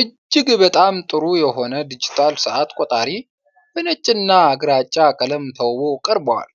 እጅግ በጣም ጥሩ የሆነ ዲጂታል ሰዓት ቆጣሪ በነጭና ግራጫ ቀለም ተውቦ ቀርቧል።